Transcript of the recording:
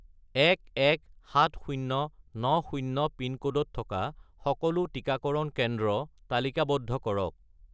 117090 পিনক'ডত থকা সকলো টিকাকৰণ কেন্দ্ৰ তালিকাবদ্ধ কৰক